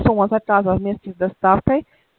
сумма заказа вместе с доставкой